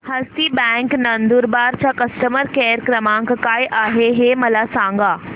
हस्ती bank Nandurbar चा customer care क्रमांक काय आहे हे मला सांगा